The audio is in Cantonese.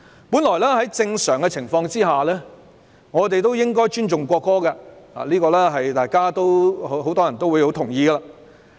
本來在正常的情況下，我們應該尊重國歌，這是很多人也同意的。